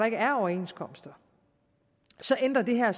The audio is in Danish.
ikke er overenskomster så ændrer det her